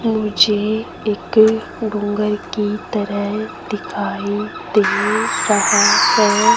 मुझे एक डोंगर की तरह दिखाई दे रहा है।